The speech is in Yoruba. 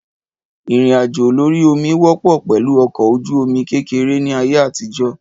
Ìrìn àjò lórí omi wọ́pọ̀ pẹ̀lú ọkọ̀ ojú omi kékeré ni ayé àtijó